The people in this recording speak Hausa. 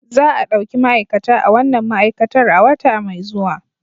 Za a ɗauki ma'aikata a wannan ma'aikatar a wata mai zuwa